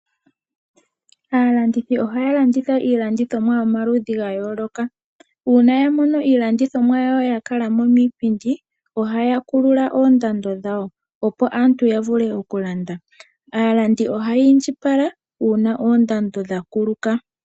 Aalandithi ohaya landitha iinima ya yooloka. Uuna ya mono iilandithomwa ya ninga mo ethimbo ohaya kulùa ko koondando naalabdi ohayi indjipala uuna oondando dha kuluka.